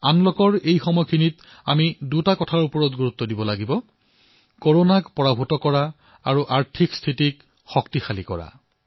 আনলকৰ এই সময়ছোৱাত আমি দুটা কথাত অধিক গুৰুত্ব প্ৰদান কৰিব লাগিব কৰোনাক পৰাস্ত কৰা আৰু আমাৰ অৰ্থব্যৱস্থাক শক্তিশালী কৰা